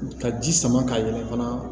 Ka ji sama ka yɛlɛ fana